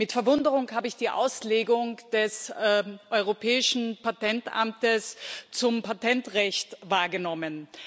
Mit Verwunderung habe ich die Auslegung des Europäischen Patentamtes zum Patentrecht wahrgenommen.